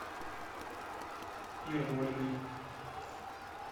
ермолиной